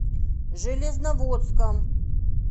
железноводском